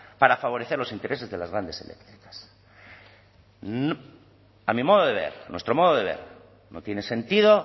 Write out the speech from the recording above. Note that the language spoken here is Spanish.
para favorecer los intereses de las grandes eléctricas a mi modo de ver a nuestro modo de ver no tiene sentido